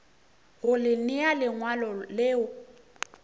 go le nea lengwalo le